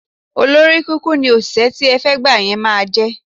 Olóríkunkun ni òṣìṣẹ́ tí ẹ fẹ́ gbà yí máa jẹ́.